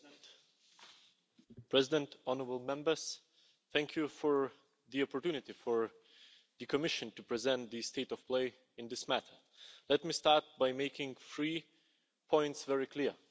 Mr President, honourable Members thank you for the opportunity for the Commission to present the state of play in this matter. Let me start by making three points very clear.